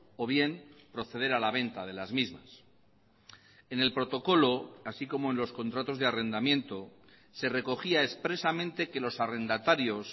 o bien proceder a la venta de las mismas en el protocolo así como en los contratos de arrendamiento se recogía expresamente que los arrendatarios